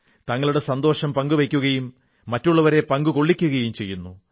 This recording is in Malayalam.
തങ്ങളുടെ സന്തോഷം പങ്കുവയ്ക്കുകയും മറ്റുള്ളവരെ പങ്കുകൊള്ളിക്കുകയും ചെയ്യുന്നു